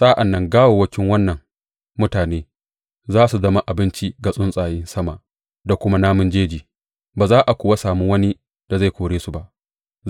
Sa’an nan gawawwakin wannan mutane za su zama abinci ga tsuntsayen sama da kuma namun jeji, ba za a kuwa sami wani da zai kore su ba.